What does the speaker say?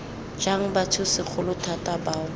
jang batho segolo thata bao